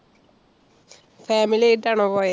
family ആയിട്ട് ആണോ പോയെ?